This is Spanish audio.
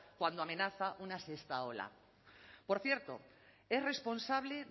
cuando amenaza una sexta ola por cierto es responsable